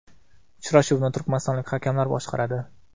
Uchrashuvni turkmanistonlik hakamlar boshqaradi.